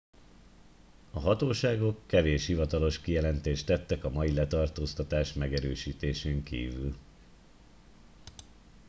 a hatóságok kevés hivatalos kijelentést tettek a mai letartóztatás megerősítésén kívül